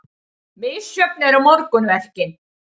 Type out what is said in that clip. Misjöfn eru morgunverkin.